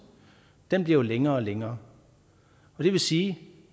bliver længere og længere og det vil sige